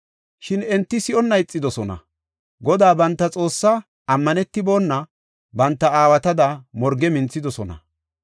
Shin enti si7onna ixidosona. Godaa banta Xoossaa ammanetibona banta aawatada morge minthidosona.